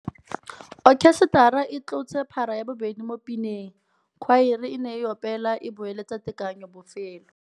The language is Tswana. Okhesetara e tlotse para ya bobedi mo pineng. Khwaere e ne e opela e boeletsa tekanyô bofelô.